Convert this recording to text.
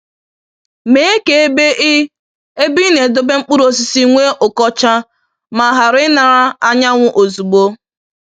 Mee ka ebe ị ebe ị na-edobe mkpụrụ osisi nwee ụkọcha ma ghara inara anyanwụ ozugbo